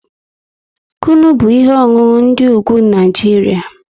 Kunu bụ ihe ọṅụṅụ ndị ugwu Naijiria